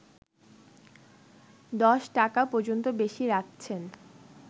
১০টাকা পর্যন্ত বেশি রাখছেন